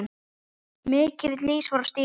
Mikill ís var á stígum.